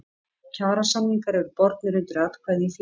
Kjarasamningar eru bornir undir atkvæði í félaginu.